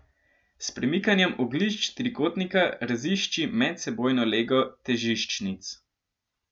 S premikanjem oglišč trikotnika razišči medsebojno lego težiščnic.